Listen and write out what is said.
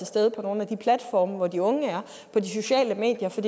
stede på nogle af de platforme hvor de unge er på de sociale medier for